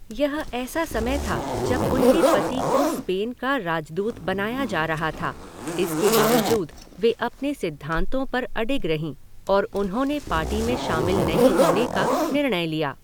यह ऐसा समय था जब उनके पति को स्पेन का राजदूत बनाया जा रहा था, इसके बावजूद वे अपने सिद्धांतों पर अडिग रहीं और उन्होंने पार्टी में शामिल नहीं होने का निर्णय लिया।